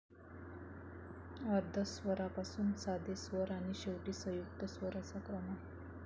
अर्धस्वरापासून साधे स्वर आणि शेवटी संयुक्त स्वर असा क्रम आहे.